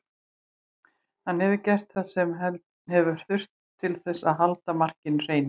Hann hefur gert það sem hefur þurft til að halda markinu hreinu.